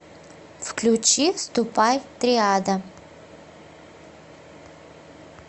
включи ступай триада